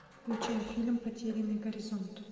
включай фильм потерянный горизонт